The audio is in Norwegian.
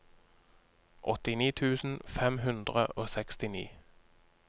åttini tusen fem hundre og sekstini